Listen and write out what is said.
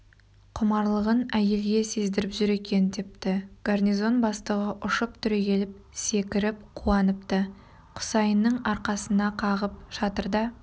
құмарлығын әйелге сездіріп жүр екен депті гарнизон бастығы ұшып түрегеліп секіріп қуаныпты құсайынның аркасына қағып шатырда